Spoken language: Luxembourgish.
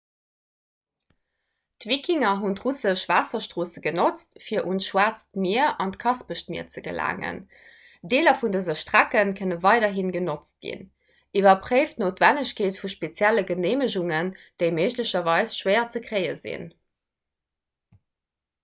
d'wikinger hunn d'russesch waasserstroosse genotzt fir un d'schwaarzt mier an d'kaspescht mier ze gelaangen deeler vun dëse strecke kënne weiderhi genotzt ginn iwwerpréift d'noutwennegkeet vu spezielle geneemegungen déi méiglecherweis schwéier ze kréie sinn